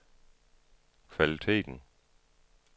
kvaliteten